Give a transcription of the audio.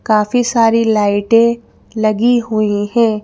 काफी सारी लाइटें लगी हुई हैं।